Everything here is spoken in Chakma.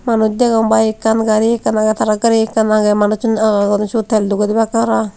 manus dagong bike akkan gari akkan agey tara gari akkan manus olor guri tal dogaey debakka para pang.